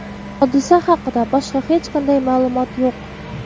Hodisa haqida boshqa hech qanday ma’lumot yo‘q.